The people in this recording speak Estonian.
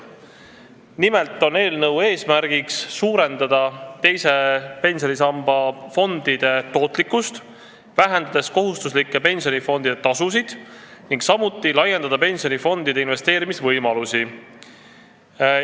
Nimelt on eelnõu eesmärk suurendada teise pensionisamba fondide tootlikkust, vähendades kohustuslike pensionifondide tasusid, samuti laiendada pensionifondide investeerimisvõimalusi.